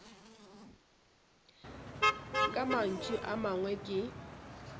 ka mantšu a mangwe ke